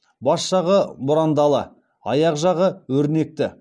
бас жағы бұрандалы аяқ жағы өрнекті